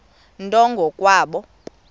nto ngo kwabo